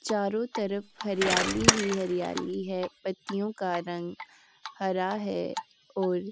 चारों तरफ हरियाली ही हरियाली है पत्तियों का रंग हरा है और --